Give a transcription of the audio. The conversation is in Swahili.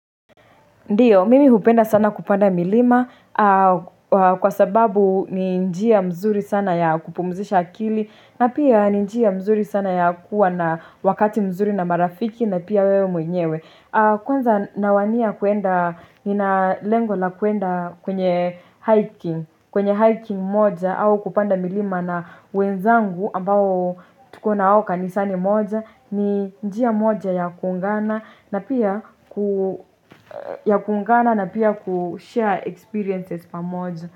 Ndiyo, mimi hupenda sana kupanda milima kwa sababu ni njia mzuri sana ya kupumzisha akili na pia ni njia mzuri sana ya kuwa na wakati mzuri na marafiki na pia wewe mwenyewe Kwanza nawania kuenda, nina lengo la kuenda kwenye hiking kwenye hiking moja au kupanda milima na wenzangu ambao tukona wao kanisani moja ni njia moja ya kuungana na pia ya kungana na pia kushare experiences pamoja.